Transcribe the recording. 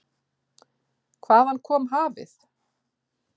Hvaðan kom hafið?